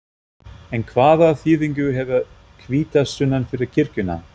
En hvaða þýðingu hefur hvítasunnan fyrir kirkjuna?